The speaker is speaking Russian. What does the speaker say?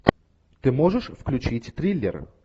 ты можешь включить триллер